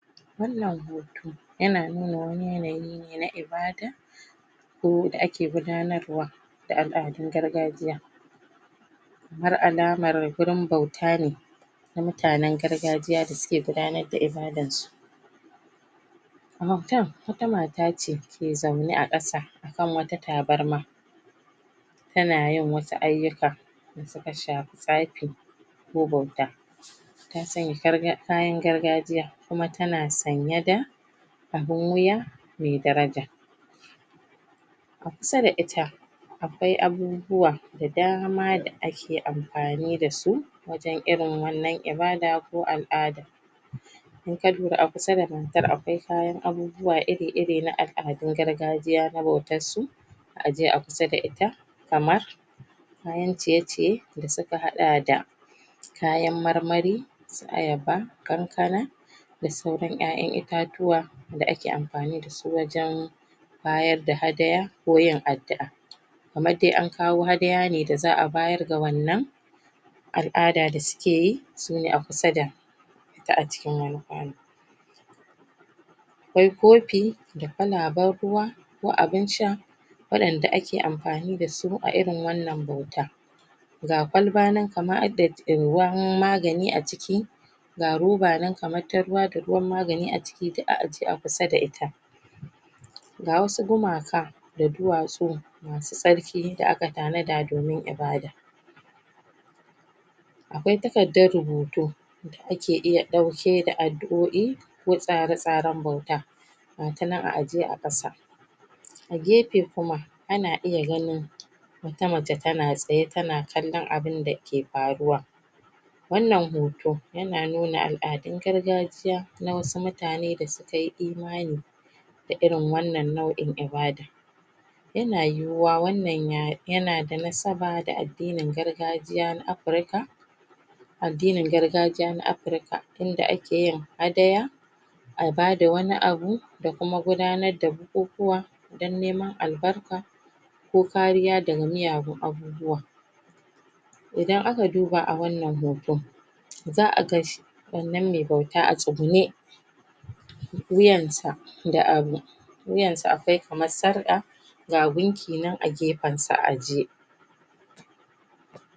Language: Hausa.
wannan hoto yana nuna wani yana yi ne na ibadah ko da ake gudanarwa da al'adun gargajiya har alamar gurin bauta ne na mutanan gargajiya da suke gabatar da ibadarsu a bautar wata matace ke zaune a kasa akan wata tabarma tana yin wasu aiyuka da suka shafi tsafi ko bauta tana sanya kayan gargajiya kuma tana sanyi da abun wuya me daraja a kusa da ita akwai abubuwa da dama da ake amfani dasu wajan irin wannan ibadah ko al'ada in ka lura a kusa da matar akwai kayan abubuwa iri iri na al'adun gargajiya na bautar su a ajje a kusa da ita kayan ciye ciye da suka haɗa da kayan marmari su ayaba kankana da sauran ƴaƴan itatuwa da ake amfani dasu wajan bayadda hadaya ko yin addu'a kamar dai ankawo hadaya ne da za a bayar ga wannan al'ada da sukeyi sune a kusa da akwai kofi da ƙwalaban ruwa ko abin sha wadanda ake amfani dasu a irin wannan bauta ga ƙwalbanan kamar hadda ruwan magani a ciki ga ruba nan kamar ta ruwa da ruwan magani a ciki duk a ajje a kusa da ita ga wasu gumaka da duwatsu masu tsarki da aka tana da domin ibadah akwai takaddar rubutu da ake iya ɗauke da addu'oi ko tsare tsaran bauta ga tanan a ajje a ƙasa a gefe kuma ana iya ganin wata mace tana tsaye tana kallan abunda ke faruwa wannan hoto yana nuna al'adun gargajiya na wasu mutane da sukayi imani da irin wannan nau'in ibadah yana yuwuwa wannan yana da nasaba da adinin gargajiya na africa addini gargajiya na africa inda akeyin hadaya abada wani abu da kuma gudanar da bukukuwa dan neman albarka ko kariya daga miyagun aiyuka idan aka duba a wannan hoto za aga wannan me bauta a tsugunne wuyan da abu wuyansa akwai kamar sarƙa ga gunkinan a gefansa a ajje